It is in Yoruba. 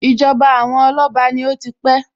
Ìjọba àwọn Ọláọba ni mo ó ti pé